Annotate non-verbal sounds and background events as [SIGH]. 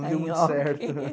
Não deu muito certo. [LAUGHS]